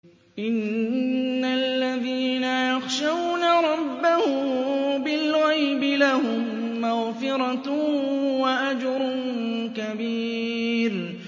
إِنَّ الَّذِينَ يَخْشَوْنَ رَبَّهُم بِالْغَيْبِ لَهُم مَّغْفِرَةٌ وَأَجْرٌ كَبِيرٌ